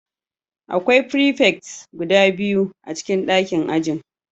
Akwai prefect guda biyu a cikin ɗakin ajin